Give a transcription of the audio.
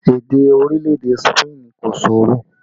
Èdè orílẹ̀ èdè Spain kò ṣòro